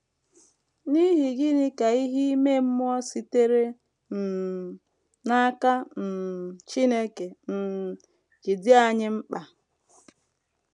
N’ihi gịnị ka ìhè ime mmụọ sitere um n’aka um Chineke um ji dị anyị mkpa?